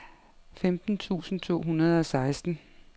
femten tusind to hundrede og seksten